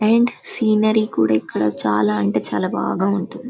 And scenery కూడా ఇక్కడ చాలా అంటే చాలా బాగా ఉంటుంది.